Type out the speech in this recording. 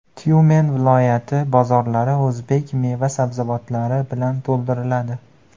Tyumen viloyati bozorlari o‘zbek meva-sabzavotlari bilan to‘ldiriladi.